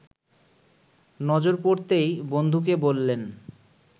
নজর পড়তেই বন্ধুকে বললেন